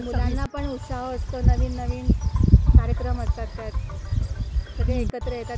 मुलांना पण उत्साह असतो नवीन नवीन कार्यक्रम असतात त्यात. सगळे एकत्र येतात त्यामुळे.